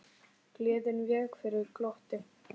Gleðin vék fyrir glotti.